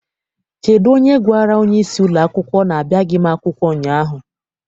Kedụ onye gwara onyeisi ụlọakwụkwọ na-abịaghị m akwụkwọ ụnyaahụ?